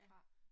Ja